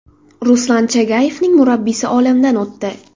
Ruslan Chagayevning murabbiyi olamdan o‘tdi.